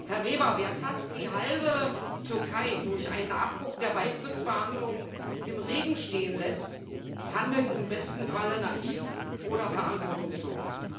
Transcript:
Herr Weber, wer fast die halbe Türkei durch einen Abbruch der Beitrittsverhandlungen im Regen stehen lässt, handelt im besten Falle naiv oder verantwortungslos.